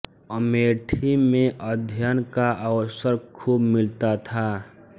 अमेठी में अध्ययन का अवसर खूब मिलता था